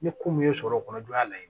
Ni kun min ye sɔrɔ kɔnɔ jɔ y'a layiru